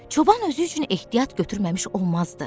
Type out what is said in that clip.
Çoban özü üçün ehtiyat götürməmiş olmazdı.